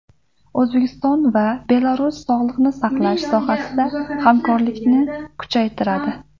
O‘zbekiston va Belarus sog‘liqni saqlash sohasida hamkorlikni kuchaytiradi.